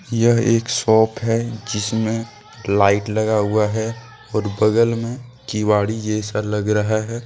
यह एक शॉप है जिसमें लाइट लगा हुआ है और बगल में केवदी जैसा लग रहा है।